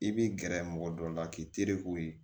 I b'i gɛrɛ mɔgɔ dɔ la k'i tereku ye